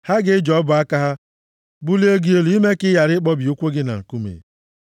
Ha ga-eji ọbụ aka ha, bulie gị elu ime ka ị ghara ịkpọbi ụkwụ gị na nkume.